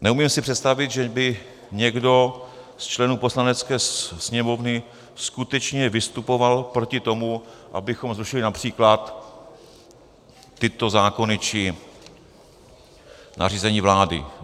Neumím si představit, že by někdo z členů Poslanecké sněmovny skutečně vystupoval proti tomu, abychom zrušili například tyto zákony či nařízení vlády.